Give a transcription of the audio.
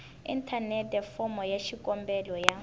inthanete fomo ya xikombelo ya